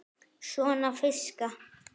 Svona fiska.